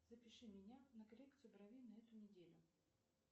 запиши меня на коррекцию бровей на эту неделю